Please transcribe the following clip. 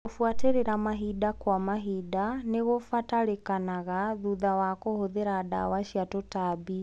Kũbuatĩrĩra mahinda kwa mahinda nĩkũbatarĩkanaga thutha wa kũhũthĩra ndawa cia tũtambi.